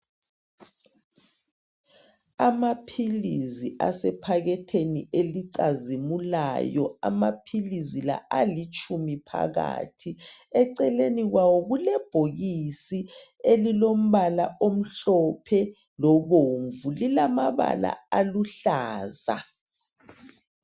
Amaphilisi asephaketheni elicazimulayo, amaphilisi la alitshumi phakathi. Eceleni kwawo kulebhokisi elilombala omhlophe lobomvu, lilamabala aluhlaza.